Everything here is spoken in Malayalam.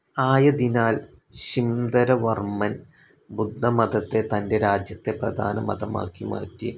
ആയതിനാൽ ശിംധരവർമ്മൻ ബുദ്ധമതത്തെ തൻ്റെ രാജ്യത്തെ പ്രധാന മതമാക്കി മാറ്റി.